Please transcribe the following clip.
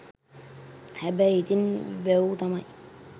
හැබැයි ඉතින් වැව් තමයි